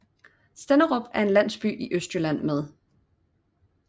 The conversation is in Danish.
Stenderup er en landsby i Østjylland med